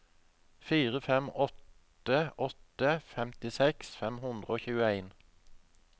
fire fem åtte åtte femtiseks fem hundre og tjueen